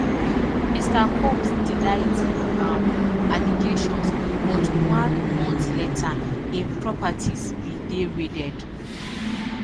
mr combs deny di um allegations but one month later im properties bin dey raided